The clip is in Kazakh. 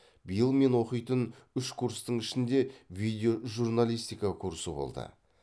биыл мен оқитын үш курстың ішінде видеожурналистика курсы болды